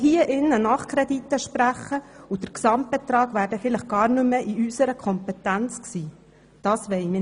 Wir wollen hier im Grossen Rat keine Nachkredite sprechen, wenn der Gesamtbetrag dann vielleicht gar nicht mehr in unserer Kompetenz liegen wird.